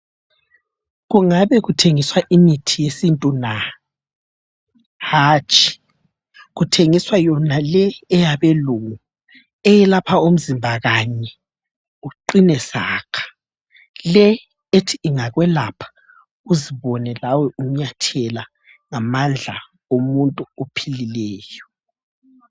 Kungabe kuthengiswa imithi yesintu na? Hatshi kuthengiswa yonale eyabelungu eyelapha umzimba kanye uqine saka. Le ethi ingakwelapha uzibone lawe unyathela ngamandla omuntu ophilileyo.